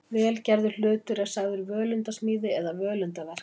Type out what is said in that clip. Vel gerður hlutur er sagður völundarsmíði eða völundarverk.